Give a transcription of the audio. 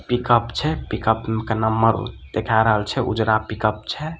Pickup छै pickup के number देखा रहल छै ऊजरा पिकअप छै।